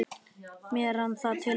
Mér rann það til rifja.